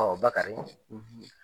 Ɔ Bakari ɔ